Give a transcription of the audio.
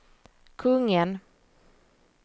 kungen